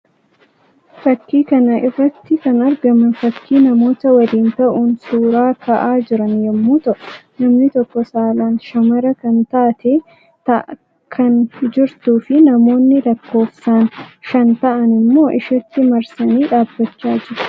Fakkii kana irrati kan argaman fakkii namoota waliin ta'uun suuraa ka'aa jiran yammuu ta'uu; namni tokko saalaan shamara kan taate ta'aa kan jirtuu fi namoonni lakkoofsaan shan ta'an immoo isheetti marsanii dhaabbachaa jiru.